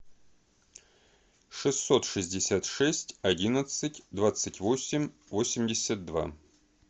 шестьсот шестьдесят шесть одиннадцать двадцать восемь восемьдесят два